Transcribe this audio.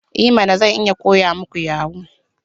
I mana! Zan iya koya muku yahoo.